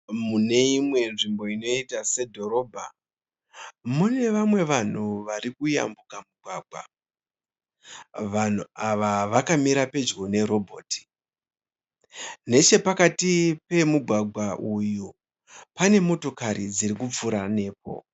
Muneimwe nzvimbo inoita sedhorobha mune vamwe vanhu varikuyambuka mugwagwa. Vanhu ava vakamira pedyo nerobhoti. Nechepakati pemugwagwa uyu pane motokari dzirikupfura nepo.